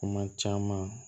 Kuma caman